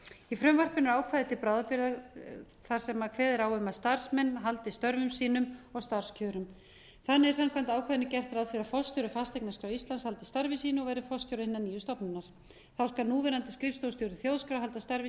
í frumvarpinu er ákvæði til bráðabirgða þar sem kveðið er á um að starfsmenn haldi störfum sínum og starfskjörum þannig er samkvæmt ákvæðinu gert ráð fyrir að forstjóri fasteignaskrár íslands haldi starfi sínu og verði forstjóri hinnar nýju stofnunar þá skal núverandi skrifstofustjóri þjóðskrár halda starfi